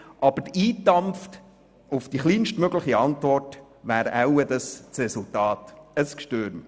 Aber eingedampft auf die kleinstmögliche Antwort wäre das Resultat wohl ein «Gschtürm».